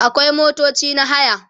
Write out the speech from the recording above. akwai motoci na haya